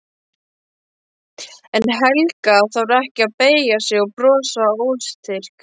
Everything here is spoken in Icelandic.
En Helga þarf ekki að beygja sig og brosa óstyrk.